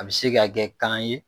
A bɛ se ka kɛ kan ye